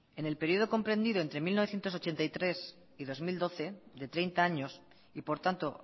en el periodo comprendido entre mil novecientos ochenta y tres y dos mil doce de treinta años y por tanto